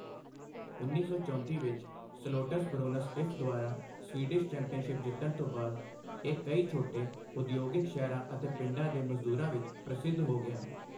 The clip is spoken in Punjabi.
ਉੱਨੀ ਸੌ ਚੌਂਤੀ ਵਿੱਚ 'ਸਲੋਟਸਬਰੋਨਸ ਇਫ' ਦੁਆਰਾ ਸਵੀਡਿਸ਼ ਚੈਂਪੀਅਨਸ਼ਿਪ ਜਿੱਤਣ ਤੋਂ ਬਾਅਦ, ਇਹ ਕਈ ਛੋਟੇ ਉਦਯੋਗਿਕ ਸ਼ਹਿਰਾਂ ਅਤੇ ਪਿੰਡਾਂ ਦੇ ਮਜ਼ਦੂਰਾਂ ਵਿੱਚ ਪ੍ਰਸਿੱਧ ਹੋ ਗਿਆ।